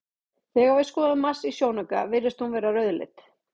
Þegar við skoðum Mars í sjónauka virðist hún vera rauðleit.